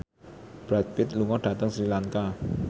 Brad Pitt lunga dhateng Sri Lanka